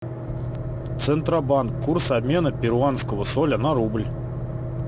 центробанк курс обмена перуанского соля на рубль